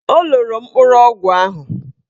O loro mkpụrụ ọgwụ ahụ.